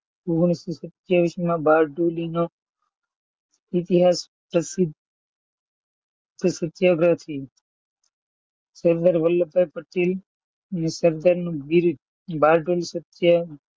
ઓગણીસો સત્તાવીસ માં બારડોલી નો ઇતિહાસ પ્રસિદ્ધ સત્યાગ્રહથી સરદાર વલ્લભભાઈ પટેલ ને સરદાર બારડોલી સત્યા,